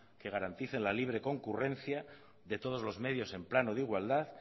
que garantice la libre concurrencia de todos los medios en plano de igualdad